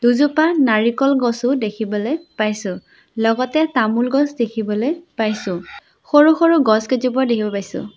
দুজোপা নাৰিকল গছো দেখিবলৈ পাইছোঁ লগতে তামোল গছ দেখিবলৈ পাইছোঁ সৰু সৰু গছ কেইজোপাও দেখিব পাইছোঁ।